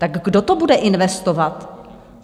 Tak kdo to bude investovat?